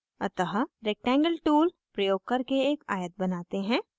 अतः rectangle tool प्रयोग करके एक आयत बनाते हैं